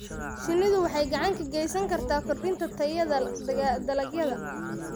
Shinnidu waxay gacan ka geysan kartaa kordhinta tayada dalagyada.